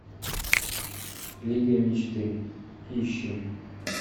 лига мечты ищи